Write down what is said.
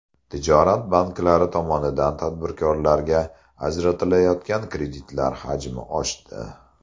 Tijorat banklari tomonidan tadbirkorlarga ajratilayotgan kreditlar hajmi oshdi.